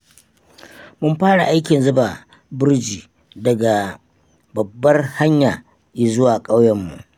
Mun fara aikin zuba burji daga babbar hanya izuwa ƙauyenmu.